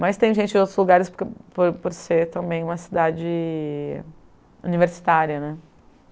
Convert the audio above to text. Mas tem gente de outros lugares por por por ser também uma cidade universitária, né?